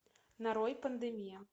нарой пандемия